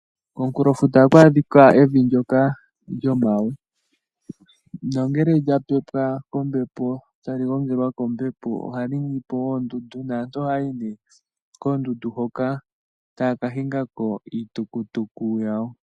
Komukulo futa ohaku adhika evi ndyoka lyomawe nongele lya pepwa kombepo tali gongelwa kombepo ohali ningi po oondundu, naantu ohaya yi koondundu hoka taya ka hinga ko iitukutuku yawo.